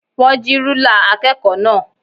Wọn jí rúlà akẹ́kọ̀ọ́ náà.